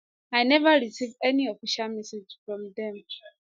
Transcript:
i neva receive any official messages from dem